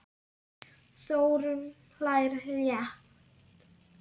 Þórunn hlær létt.